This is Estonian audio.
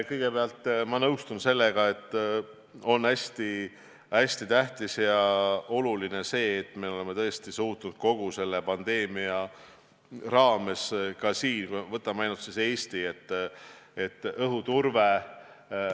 Kõigepealt, ma nõustun sellega, et on hästi tähtis, et me oleme tõesti suutnud kogu selle pandeemia ajal tagada Eestis korraliku õhuturbe.